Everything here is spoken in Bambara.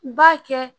B'a kɛ